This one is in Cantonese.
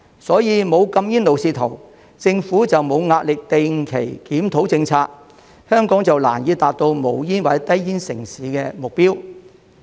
所以，沒有禁煙路線圖，政府就沒有壓力定期檢討政策，香港就難以達致無煙或低煙城市的目標。